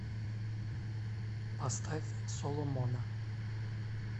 поставь соломона